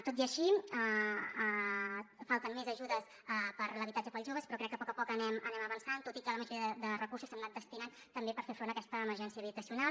tot i així falten més ajudes per a l’habitatge per als joves però crec que a poc a poc anem avançant tot i que la majoria de recursos s’han anat destinant també per fer front a aquesta emergència habitacional